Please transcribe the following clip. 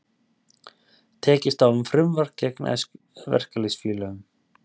Tekist á um frumvarp gegn verkalýðsfélögum